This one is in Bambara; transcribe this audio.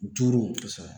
Duuru